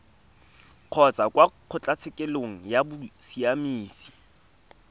kgotsa kwa kgotlatshekelo ya bosiamisi